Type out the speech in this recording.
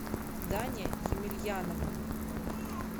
даня емельянова